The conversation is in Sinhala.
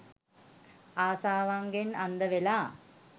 ආශාවන්ගෙන් අන්දවෙලා.